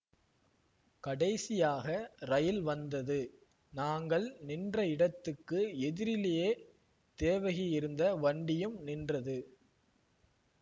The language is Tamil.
கடைசியாக ரயில் வந்தது நாங்கள் நின்ற இடத்துக்கு எதிரிலேயே தேவகி இருந்த வண்டியும் நின்றது